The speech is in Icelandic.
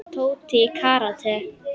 Tóti í karate.